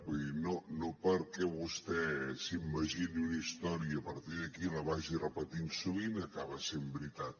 vull dir no perquè vostè s’imagini una història i a partir d’aquí la vagi repetint sovint acaba sent veritat